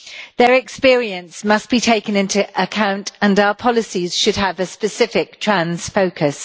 Their experience must be taken into account and our policies should have a specific trans focus.